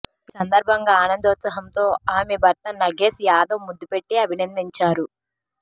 ఈ సందర్భంగా ఆనందోత్సాహంతో ఆమె భర్త నగేశ్ యాదవ్ ముద్దు పెట్టి అభినందించారు